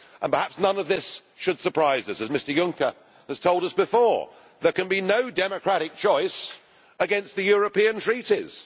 Perhaps none of this should surprise us, as Mr Juncker has told us before that there can be no democratic choice against the European Treaties.